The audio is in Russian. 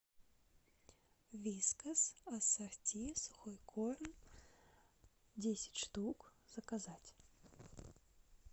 вискас ассорти сухой корм десять штук заказать